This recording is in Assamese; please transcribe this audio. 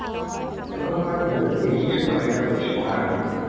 সেনেকুৱা আৰু মই বহুত দেখিছো মানে সেইকাৰণে কৈছো হা আগতে